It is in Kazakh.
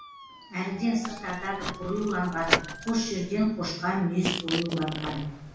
әріден сыр тартады қоюланған қос жерден қошқармүйіз оюланған